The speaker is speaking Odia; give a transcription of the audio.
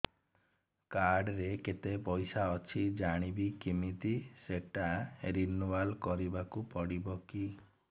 କାର୍ଡ ରେ କେତେ ପଇସା ଅଛି ଜାଣିବି କିମିତି ସେଟା ରିନୁଆଲ କରିବାକୁ ପଡ଼ିବ କି